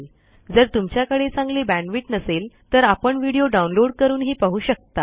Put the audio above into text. जर तुमच्याकडे चांगली बॅण्डविड्थ नसेल तर आपण व्हिडिओ डाउनलोड करूनही पाहू शकता